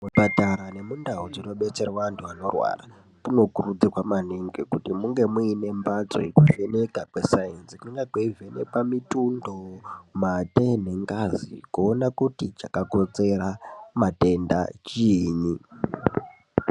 Zvipatara nemundau dzinodetserwa antu anorwara kunokurudzirwa maningi kuti munge muine mbatso yekuvheneka kwe sainzi kunonga kweivhenekwa mitundo, mate, nengazi kuona kuti chakakonzera matenda chiinyi.